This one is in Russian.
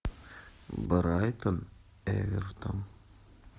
брайтон эвертон